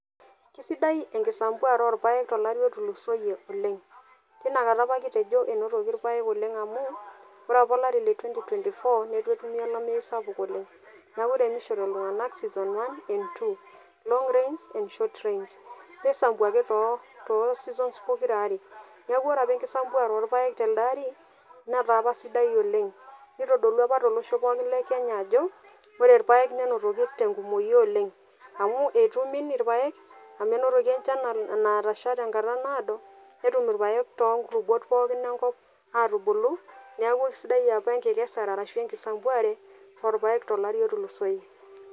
Kisidai enkisambuare orpaek tolari otulusoyie oleng tinewueji apa kitejo enotoki irpayek oleng amu ore apa olari le twenty twenty four netu etumi olamei sapuk oleng niaku ore etunishote iltung'anak season one and season two, long rains and short rains pisambu ake too too seasons pokirare niaku ore apa enkisambuare telde ari netaa apa sidai oleng nitodolua apa tolosho pookin le kenya ajo ore irpayek nenotoki tenkumoi oleng amu etu imin irpaek amu enotoki enchan naatasha tenkata naado netum irpayek tonkuluubot pookin enkop atubulu niaku kisidai apa enkikesare arashu enkisambuare orpayek tolari otulusoyie.